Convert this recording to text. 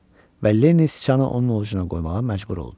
Və Lenni sıçanı onun ovcuna qoymağa məcbur oldu.